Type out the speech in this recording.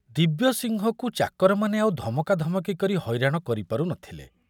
ଦିବ୍ୟସିଂହକୁ ଚାକରମାନେ ଆଉ ଧମକାଧମକି କରି ହଇରାଣ କରିପାରୁ ନଥିଲେ।